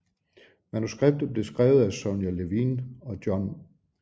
Manuskriptet blev skrevet af Sonya Levien og John L